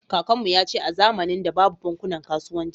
Kakanmu yace a zamanin da babu bankunan kasuwanci